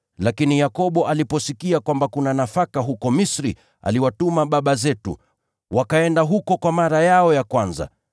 Lakini Yakobo aliposikia kwamba kuna nafaka huko Misri, aliwatuma baba zetu, wakaenda huko kwa mara yao ya kwanza.